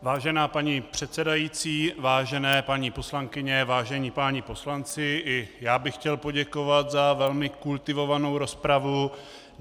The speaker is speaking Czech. Vážená paní předsedající, vážené paní poslankyně, vážení páni poslanci, i já bych chtěl poděkovat za velmi kultivovanou rozpravu.